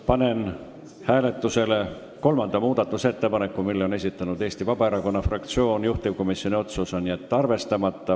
Panen hääletusele kolmanda muudatusettepaneku, mille on esitanud Eesti Vabaerakonna fraktsioon, juhtivkomisjoni otsus: jätta arvestamata.